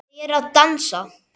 Þau eru að dansa